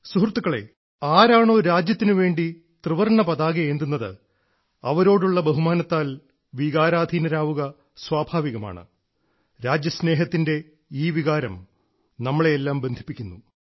സുഹൃത്തുക്കളെ ആരാണോ രാജ്യത്തിനുവേണ്ടി ത്രിവർണ്ണപതാകയേന്തുന്നത് അവരോടുള്ള ബഹുമാനത്താൽ വികാരാധീനരാവുക സ്വാഭാവികമാണ് രാജ്യസ്നേഹത്തിന്റെ ഈ വികാരം നമ്മളെയെല്ലാം ബന്ധിപ്പിക്കുന്നു